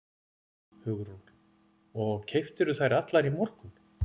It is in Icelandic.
Hugrún: Og keyptirðu þær allar í morgun?